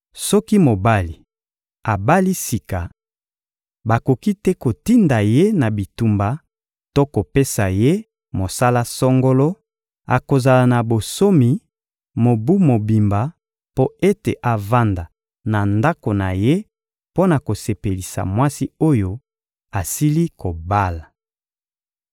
Soki mobali abali sika, bakoki te kotinda ye na bitumba to kopesa ye mosala songolo; akozala na bonsomi mobu mobimba mpo ete avanda na ndako na ye mpo na kosepelisa mwasi oyo asili kobala.